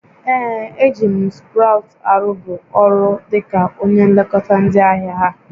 Ee, e ji bụ m Sprout arụbu ọrụ dịka onye nlekọta ndị ahịa ha